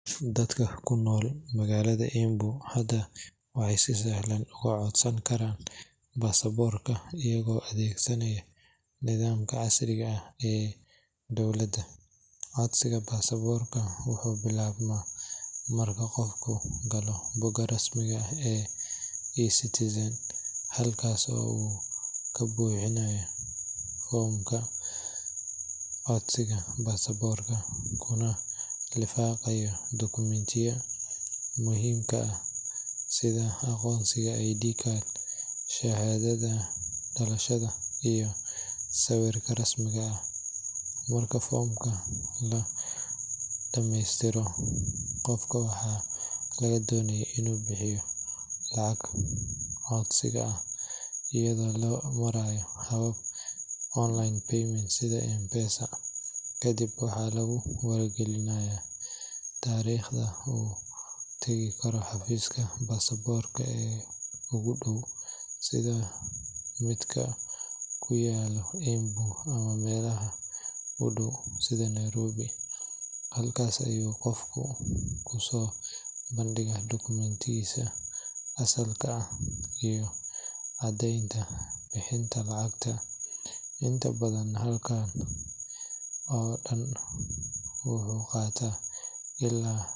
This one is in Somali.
Dadka ku nool magaalada Embu hadda waxay si sahlan uga codsan karaan baasaboorka iyagoo adeegsanaya nidaamka casriga ah ee dowladda. Codsiga baasaboorka wuxuu bilaabmaa marka qofku galo bogga rasmiga ah ee eCitizen, halkaas oo uu ka buuxinayo foomka codsiga baasaboorka, kuna lifaaqayo dukumentiyada muhiimka ah sida aqoonsiga ID card, shahaadada dhalashada, iyo sawirka rasmiga ah. Marka foomka la dhammaystiro, qofka waxaa laga doonayaa inuu bixiyo lacagta codsiga iyadoo loo marayo habab online payment sida M-Pesa. Kadib, waxaa lagu wargelinayaa taariikhda uu tagi karo xafiiska baasaboorka ee ugu dhow, sida midka ku yaalla Embu ama meelaha u dhow sida Nairobi. Halkaas ayuu qofku kusoo bandhigaa dukumentigiisa asalka ah iyo caddaynta bixinta lacagta. Inta badan habkan oo dhan wuxuu qaataa ilaa.